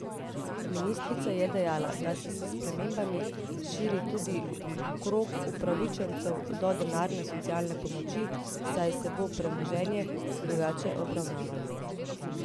Ministrica je dejala, da se s spremembami širi tudi krog upravičencev do denarne socialne pomoči, saj se bo premoženje drugače obravnavalo.